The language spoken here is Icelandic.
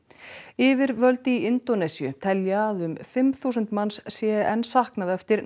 yfirvöld í Indónesíu telja að um fimm þúsund manns sé enn saknað eftir